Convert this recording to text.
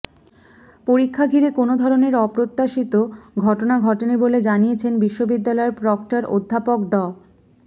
পরীক্ষা ঘিরে কোনো ধরনের অপ্রত্যাশিত ঘটনা ঘটেনি বলে জানিয়েছেন বিশ্ববিদ্যালয়ের প্রক্টর অধ্যাপক ড